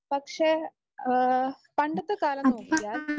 പക്ഷേ ആഹ് പണ്ടത്തെ കാലം നോക്കിയാൽ